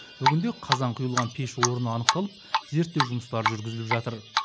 бүгінде қазан құйылған пеш орыны анықталып зерттеу жұмыстары жүргізіліп жатыр